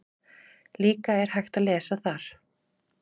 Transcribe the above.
Líka er hægt að lesa þar